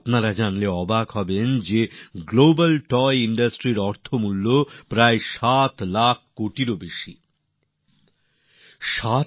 আপনারা জেনে অবাক হবেন যে গ্লোবাল টয় ইন্ডাস্ট্রির ৭ লক্ষ কোটি টাকারও বেশি ব্যবসা রয়েছে